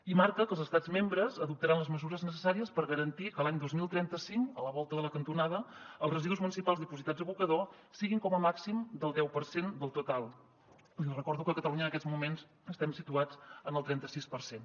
i marca que els estats membres adoptaran les mesures necessàries per garantir que l’any dos mil trenta cinc a la volta de la cantonada els residus municipals dipositats a abocador siguin com a màxim del deu per cent del total i li recordo que catalunya en aquests moments estem situats en el trenta sis per cent